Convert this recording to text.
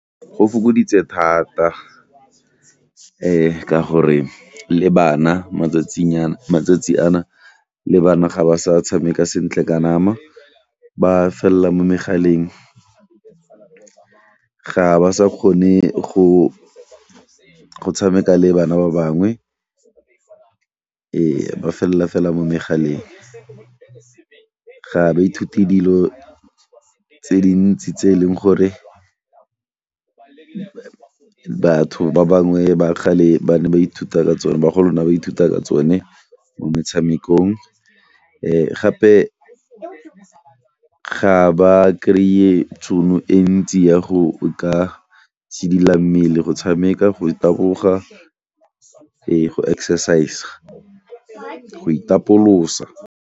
Go fokoditse thata ka gore le bana matsatsing a na, matsatsi a na le bana ga ba sa tshameka sentle ka nama ba fella mo megaleng, ga ba sa kgone go tshameka le bana ba bangwe ba felela fela mo megaleng. Ga ba ithute dilo tse dintsi tse e leng gore batho ba bangwe ba kgale ba ne ba ithuta ka tsone, bagolo na ba ithuta ka tsone mo metshamekong, gape ga ba krye tšhono e ntsi ya go ka itshidila mmele, go tshameka, go taboga le go exercise, go itapolosa.